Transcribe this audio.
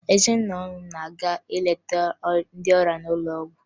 Ezinụlọ m na-aga ileta ndị ọrịa n'ụlọ ọgwụ